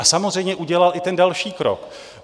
A samozřejmě udělal i ten další krok.